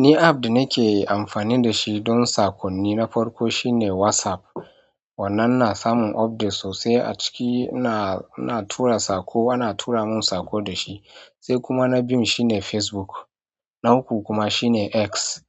Ni app da nake amfani da shi don saƙonni na farko shine WhatsApp, wannan na samun updates sosai a ciki ina, ina tura saƙo ana tura mun saƙo da shi. Sai kuma na biyu shine Facebook, na uku kuma shine X.